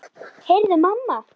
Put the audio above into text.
Heyrðu mamma!